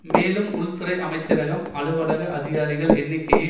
மேலும் உள் துறை அமைச்சரகம் அலுவலக அதிகாரிகள் எண்ணிக்கையை